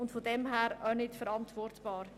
Es ist auch nicht verantwortbar.